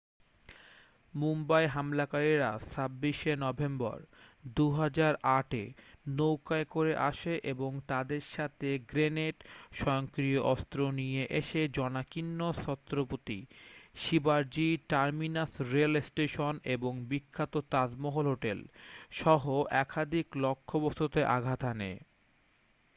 মুম্বাই হামলাকারীরা 26 শে নভেম্বর 2008 এ নৌকায় করে আসে এবং তাদের সাথে গ্রেনেড স্বয়ংক্রিয় অস্ত্র নিয়ে এসে জনাকীর্ণ ছত্রপতি শিবাজি টার্মিনাস রেল স্টেশন এবং বিখ্যাত তাজমহল হোটেল সহ একাধিক লক্ষ্যবস্তুতে আঘাত হানে